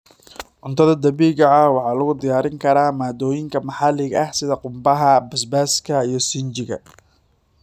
Cuntada dabiiciga ah waxaa lagu diyaarin karaa maaddooyinka maxaliga ah sida qumbaha, basbaaska, iyo sinjiga.